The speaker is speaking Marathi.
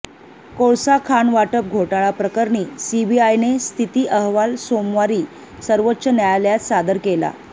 कोळसा खाण वाटप घोटाळा प्रकरणी सीबीआयने स्थिती अहवाल सोमवारी सर्वोच्च न्यायालयात सादर केला